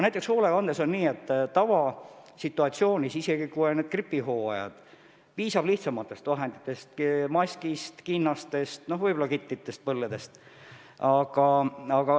Näiteks hoolekandes on nii, et tavasituatsioonis, isegi kui on gripihooaeg, piisab lihtsamatest vahenditest: maskist, kinnastest, võib-olla ka kitlitest ja põlledest.